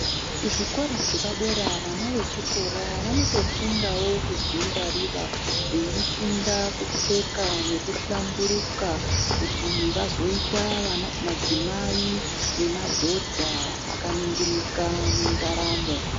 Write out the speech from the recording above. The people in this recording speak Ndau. Kuzvikora zvepadera vana vechikora vanotofundawo kudzingwarira veifunda kupfeka nekuhlamburuka kuti vazoita madzimai nemadhodha akaningirika mundaramo.